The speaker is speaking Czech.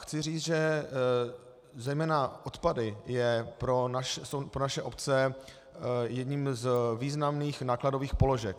Chci říct, že zejména odpady jsou pro naše obce jednou z významných nákladových položek.